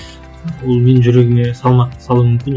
ол менің жүрегіме салмақ салуы мүмкін